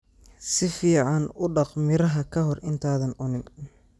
Si fiican u dhaq miraha ka hor intaadan cunin.